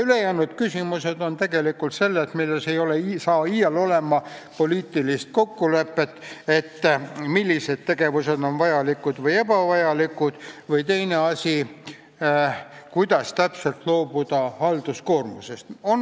Ülejäänud kaks eesmärki on sellised, milles ei tule iial poliitilist kokkulepet, ei tule kokkulepet, millised tegevused on vajalikud või ebavajalikud või kuidas täpselt vähendada halduskoormust.